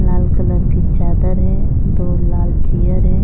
लाल colour की चादर है दो लाल चियर है।